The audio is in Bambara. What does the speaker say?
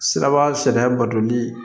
Siraba sariya batoli